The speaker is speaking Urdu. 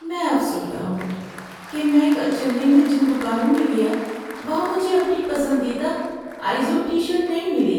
‏میں افسردہ ہوں کہ میں کل چنئی میں جن دکانوں میں گیا وہاں مجھے اپنی پسندیدہ آئیزوڈ ٹی شرٹ نہیں ملی۔